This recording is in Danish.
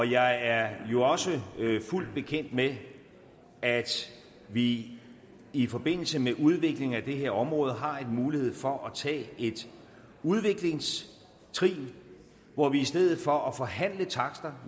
jeg er jo også fuldt bekendt med at vi i forbindelse med udviklingen af det her område har en mulighed for at tage et udviklingstrin hvor vi i stedet for at forhandle takster